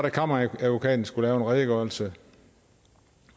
at kammeradvokaten skulle lave en redegørelse